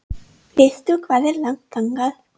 Veistu hvað er langt þangað?